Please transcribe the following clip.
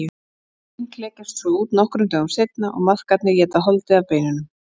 Eggin klekjast svo út nokkrum dögum seinna og maðkarnir éta holdið af beinunum.